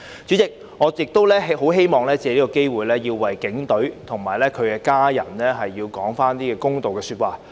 主席，我亦希望藉此機會為警隊及其家人說句公道話。